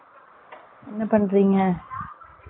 என்ன பன்ரீங்க